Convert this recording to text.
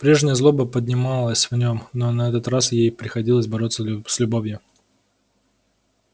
прежняя злоба поднималась в нём но на этот раз ей приходилось бороться с любовью